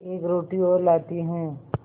एक रोटी और लाती हूँ